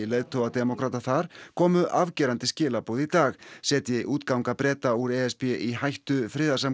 leiðtoga demókrata þar komu afgerandi skilaboð í dag setji útganga Breta úr e s b í hættu